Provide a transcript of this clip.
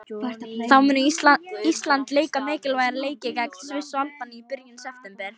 Þá mun Ísland leika mikilvæga leiki gegn Sviss og Albaníu í byrjun september.